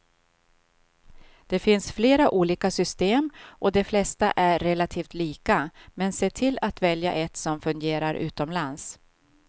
Det finns flera olika system och de flesta är relativt lika, men se till att välja ett som fungerar utomlands.